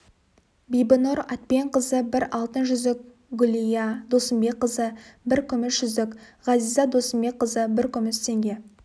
бибінұр әйтпенқызы бір алтын жүзік гүлия досымбекқызы бір күміс жүзік ғазиза досымбекқызы бір күміс теңге